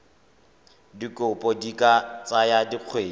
dikopo di ka tsaya dikgwedi